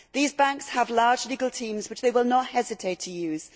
These banks have large legal teams, which they will not hesitate to use.